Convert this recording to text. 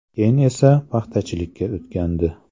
Keyin esa paxtachilikka o‘tgandi.